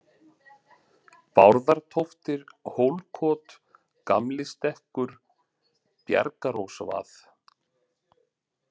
Bárðartóftir, Hólkot, Gamli-Stekkur, Bjargarós vað